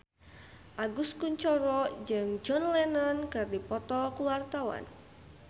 Agus Kuncoro jeung John Lennon keur dipoto ku wartawan